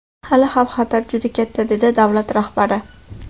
Hali xavf-xatar juda katta”, dedi davlat rahbari.